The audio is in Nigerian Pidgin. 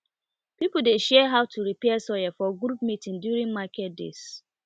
people dey share how to repair soil for group meeting during market days